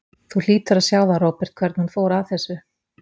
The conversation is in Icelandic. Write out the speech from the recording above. Þú hlýtur að sjá það, Róbert, hvernig hún fór að þessu.